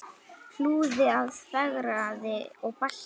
Hlúði að, fegraði og bætti.